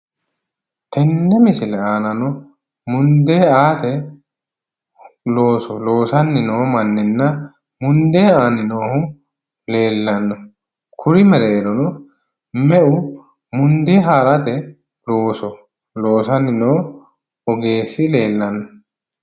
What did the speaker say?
Tenne misile aanano mundee aate looso loosanni noo manninna mundee aanni noohu leellanno. Kuri mereerono meu mundee haarate looso loosanni no ogeessi leellanno?